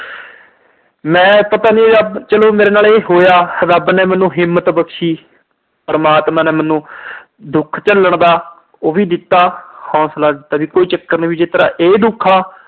ਮੈਂ ਪਤਾ ਨੀ ਰੱਬ, ਚਲੋ ਮੇਰੇ ਨਾਲ ਇਹ ਹੋਇਆ, ਰੱਬ ਨੇ ਮੈਨੂੰ ਹਿੰਮਤ ਬਖਸ਼ੀ। ਪਰਮਾਤਮਾ ਨੇ ਮੈਨੂੰ ਦੁੱਖ ਝੱਲਣ ਦਾ ਉਹ ਵੀ ਦਿੱਤਾ, ਹੌਂਸਲਾ ਦਿੱਤਾ ਵੀ ਕੋਈ ਚੱਕਰ ਨੀ, ਜਿਦਾਂ ਇਹ ਦੁੱਖ ਆ